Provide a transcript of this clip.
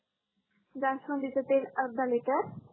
जास्वंदीच तेल अर्धा लीटर